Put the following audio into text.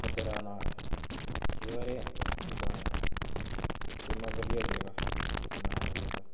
koteronoo kekeren sotonii simobolyo chegoo anan kosimayaakitun